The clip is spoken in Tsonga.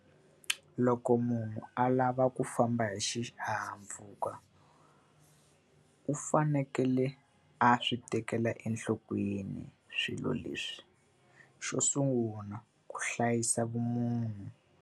Loko munhu a lava ku famba hi xihahampfhuka, u fanekele a swi tekela enhlokweni swilo leswi. Xo sungula ku hlayisa vumunhu.